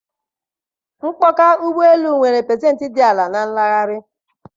Mkpọka ụgbọ elu nwere pasentị dị ala nke nlanarị